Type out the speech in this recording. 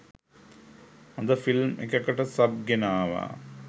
හොඳ ‍ෆිල්ම් එකකට සබ් ගෙනාවා.